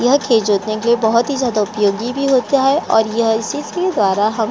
यह खेत जोतने के लिए बहुत ही ज्यादा उपयोगी भी होता है और यह इसी के द्वारा हम --